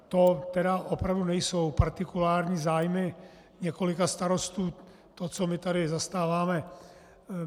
To tedy opravdu nejsou partikulární zájmy několika starostů, to, co my tady zastáváme.